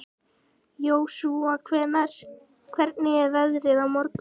Jósúa, hvernig er veðrið á morgun?